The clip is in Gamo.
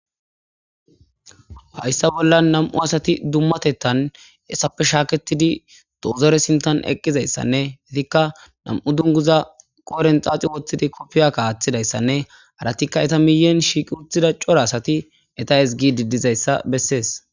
Haysa bollan 2 asat dumatetan etappe shametid dozore sinthan eqizaysanne 2 dunguza qodhen xaxid wothid kopiya wothidaysanne haratika iza miyen shiq utida cora asat eta ezigid dizaysa beses.